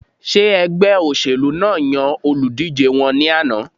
Ṣé ẹgbẹ́ óṣèlú náà yan olùdíjé wọn ní àná?